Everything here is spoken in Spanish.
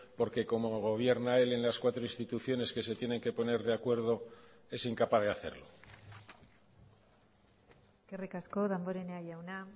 porque como gobierna él en las cuatro instituciones que se tienen que poner de acuerdo es incapaz de hacerlo eskerrik asko damborenea jauna